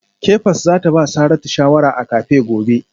Kefas za ta ba Saratu shawara a cafe gobe